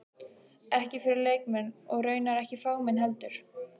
Ekki fyrir leikmenn- og raunar ekki fagmenn heldur.